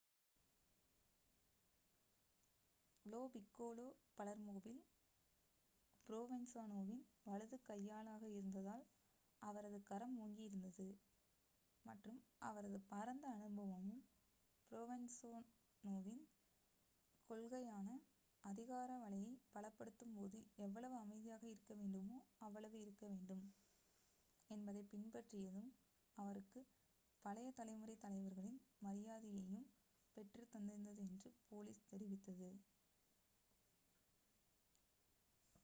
low Piccolo பலெர்மோவில் ப்ரோவென்சாநோவின் வலது கையாளாக இருந்ததால் அவரது கரம் ஓங்கி இருந்தது மற்றும் அவரது பரந்த அனுபவமும் ப்ரோவென்சாநோவின் கொள்கையான அதிகார வலையை பலப்படுத்தும் போது எவ்வளவு அமைதியாக இருக்க முடியுமோ அவ்வளவு இருக்க வேண்டும் என்பதைப் பின்பற்றியதும் அவருக்குப் பழைய தலைமுறை தலைவர்களின் மரியாதையையும் பெற்றுத் தந்திருந்தது என்று போலீஸ் தெரிவித்தது